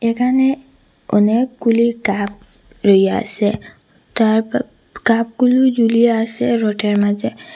এখানে অনেকগুলি কাপ রইয়াসে তারপ কাপগুলো ঝুলিয়া আসে রোডের মাঝে।